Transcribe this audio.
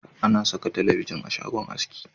A na saka talabijin a shagon haski